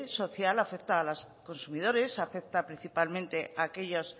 social afecta a los consumidores afecta principalmente a aquellos